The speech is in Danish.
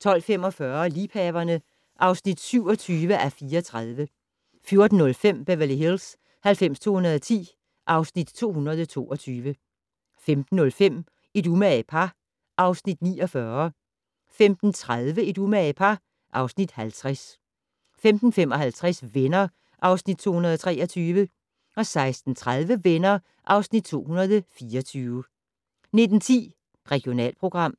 12:45: Liebhaverne (27:34) 14:05: Beverly Hills 90210 (Afs. 222) 15:05: Et umage par (Afs. 49) 15:30: Et umage par (Afs. 50) 15:55: Venner (Afs. 223) 16:30: Venner (Afs. 224) 19:10: Regionalprogram